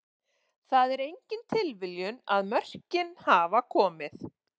Það er engin tilviljun að mörkin hafa komið.